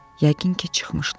Yəqin ki, çıxmışdı.